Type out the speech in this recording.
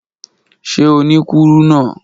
Ṣe o ni kuruna?